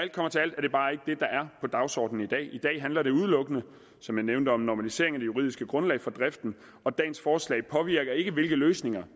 på dagsordenen i dag i dag handler det udelukkende som jeg nævnte om normalisering af det juridiske grundlag for driften og dagens forslag påvirker ikke hvilke løsninger